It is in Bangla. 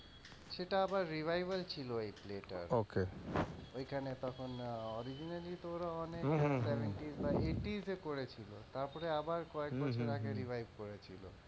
সেটা আবার revival ছিল এই play টা ওইখানে তখন originally তো ওরা অনেক seventies বা eighties এ করেছিল তারপরে আবার কয়েক বছর আগে revive করেছিল।